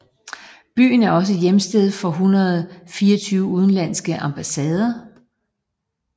Byen er også hjemsted for 124 udenlandske ambassader